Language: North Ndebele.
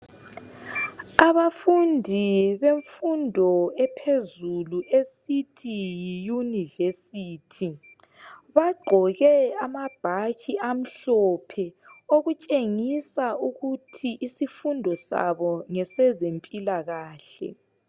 Abafundi bemfundo ephezulu esithi yiYunivesithi. Bagqoke amabhatshi amhlophe okutshengisa ukuthi isifundo sabo ngesezempilakahle.